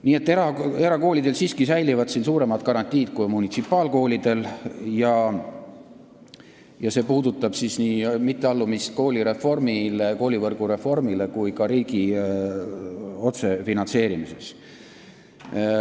Nii et erakoolidel siiski säilivad suuremad garantiid kui munitsipaalkoolidel ja see puudutab nii mitteallumist koolivõrgu reformile kui ka riigi otsefinantseerimist.